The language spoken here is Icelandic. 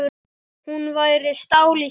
Hún væri stál í stál.